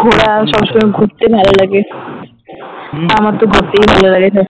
ঘোরা সব সময় ঘুরতে ভালো লাগে আমার তো ঘুরতেই ভালো লাগে